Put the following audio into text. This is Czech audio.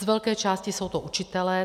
Z velké části jsou to učitelé.